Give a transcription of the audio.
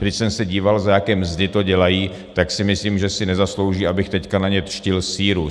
Když jsem se díval, za jaké mzdy to dělají, tak si myslím, že si nezaslouží, abych teď na ně dštil síru.